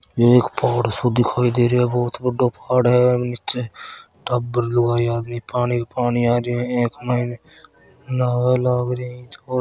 ये एक पहाड़ सो दिखाई दे रियो बहुत बडा पहाड़ा है निचे टाबर लुगाई आदमी पानी पानी आरो है अ के महा न्हावण लाग रहा है और --